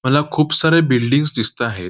मला खूप सारे बिल्डिंग्स दिसताहेत.